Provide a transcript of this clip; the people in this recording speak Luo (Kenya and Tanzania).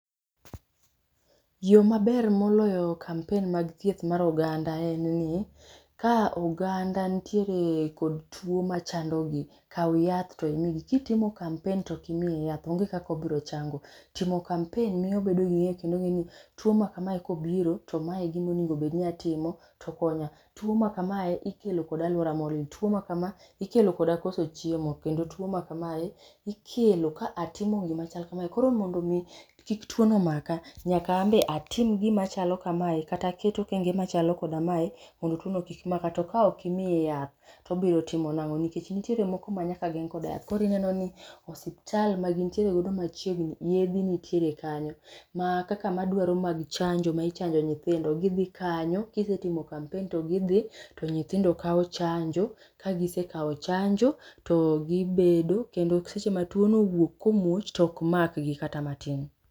Yoo maber moloyo kampen mag thieth mar oganda en ni ka oganda nitiere kod tuo machandogi kao yath to imigi. kitimo kampen to ok imiye yath onge kaka obiro chango. Timo kampen miyo obedo gi ng'eyo kendo ongeni tuo ma kamae kobiro to mae egimonego obed ni atimo tokonya, tuo ma kamae ikelo gi aluora molil, tuo ma kama ikelo koda koso chiemo kendo tuo ma kamae ikelo ka atimo gima chal kamae. koro mondo mi kik tuo no maka nyaka an be atim gim achalo kamae kata aket okenge machalo kamae mondo tuo no kik maka to kaok imiye yath to obiro timo nango nikech nitiere moko manyaka geng kod yath. Koro ineno ni osiptal magintiere godo machiegni yedhi nitiere kanyo ma kaka madwaro mag chanjo michanjo nyithindo, gidhi kanyo kisetimo kampen to gidhi to nyithindo kao chanjo, ka gisekao chanjo to gibedo, kendo seche ma tuono owuok komuoch to ok makgi kata matin.